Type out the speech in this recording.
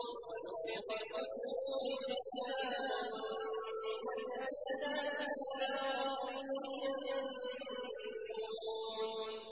وَنُفِخَ فِي الصُّورِ فَإِذَا هُم مِّنَ الْأَجْدَاثِ إِلَىٰ رَبِّهِمْ يَنسِلُونَ